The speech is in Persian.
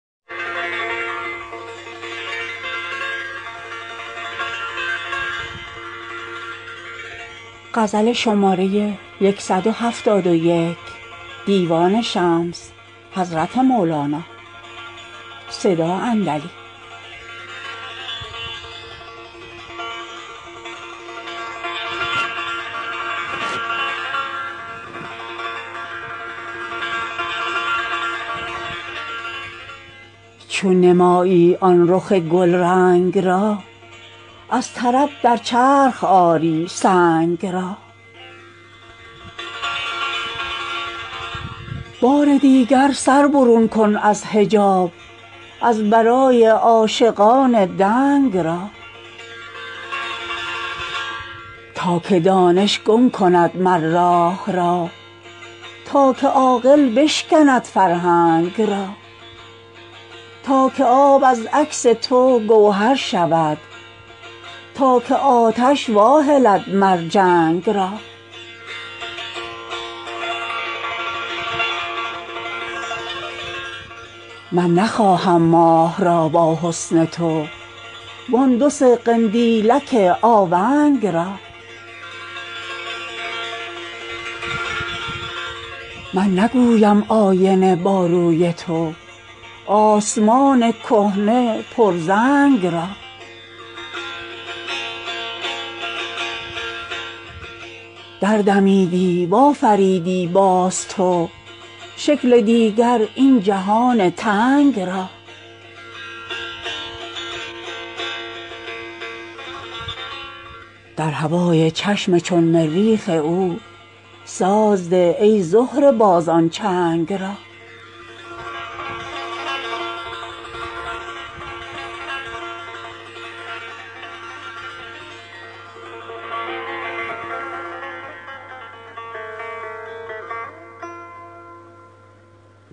چون نمایی آن رخ گلرنگ را از طرب در چرخ آری سنگ را بار دیگر سر برون کن از حجاب از برای عاشقان دنگ را تا که دانش گم کند مر راه را تا که عاقل بشکند فرهنگ را تا که آب از عکس تو گوهر شود تا که آتش واهلد مر جنگ را من نخواهم ماه را با حسن تو وان دو سه قندیلک آونگ را من نگویم آینه با روی تو آسمان کهنه پرزنگ را دردمیدی و آفریدی باز تو شکل دیگر این جهان تنگ را در هوای چشم چون مریخ او ساز ده ای زهره باز آن چنگ را